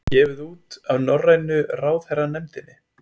Gefið út af Norrænu ráðherranefndinni.